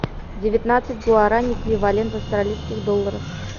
девятнадцать гуарани эквивалент в австралийских долларах